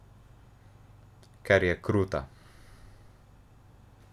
Ker je kruta!